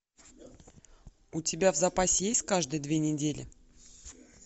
у тебя в запасе есть каждые две недели